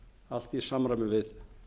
allt í samræmi við